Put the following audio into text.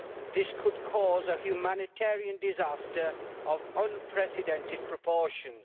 This could cause a humanitarian disaster of unprecedented proportions.